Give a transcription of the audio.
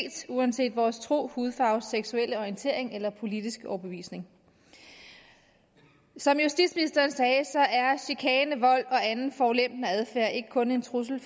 uanset vores tro hudfarve seksuelle orientering eller politiske overbevisning som justitsministeren sagde er chikane vold og anden forulempende adfærd ikke kun en trussel